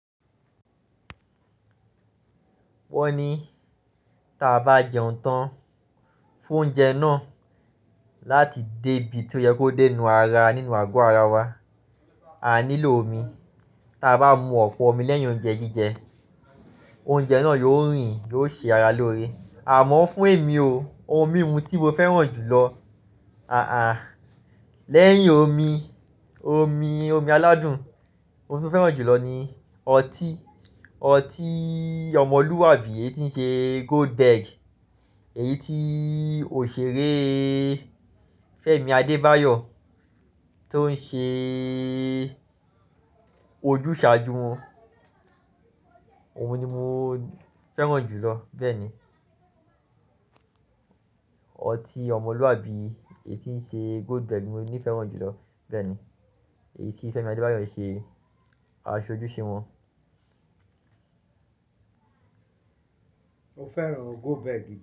Wọ́n ní taa bá jẹun tán fún oúnjẹ náà láti dé ibi tó yẹ kó dé inú ara nínú àgọ́ ara wa, à nílò omi. Ta bá mu ọ̀pọ̀ omi lẹ́yìn oúnjẹ jíjẹ, oúnjẹ náà yóò rìn, yóò ṣe ara lóore. Àmọ́ fún èmi o, ohun mímu tí mo fẹ́ràn jù lọ, à-à lẹ́yìn omi, omi, omi aládùn, oun tí mo fẹ́ràn jù lọ ni ọtí. Ọtí ọmọlúwàbí èyí tí ń ṣe Goldberg, èyí tí òṣèré Fẹ́mi Adébáyọ̀ tó ń ṣe ee ojúṣà jú wọn. Oun ni mo fẹ́ràn jù lọ bẹ́ẹ̀ ni. Ọtí ọmọlúwàbí èyí tí ń ṣe Goldberg ni mo ní fẹ́ràn jù lọ bẹ́ẹ̀ ni. Èyí tí Fẹ́mi Adébáyọ̀ ń ṣe aṣojú ṣe wọn. Mo fẹ́ràn Goldberg.